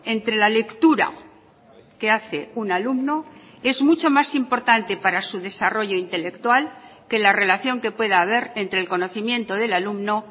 entre la lectura que hace un alumno es mucho más importante para su desarrollo intelectual que la relación que pueda haber entre el conocimiento del alumno